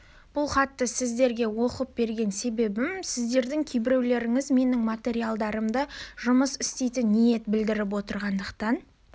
бұл хатты сіздерге оқып берген себебім сіздердің кейбіреулеріңіз менің материалдарыммен жұмыс істейтін ниет білдіріп отырғандықтан